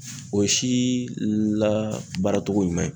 O si labaaratogo ɲuman ye.